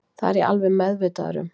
Það er ég alveg meðvitaður um